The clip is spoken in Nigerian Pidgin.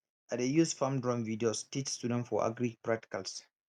i dey use farm drone videos teach students for agri practicals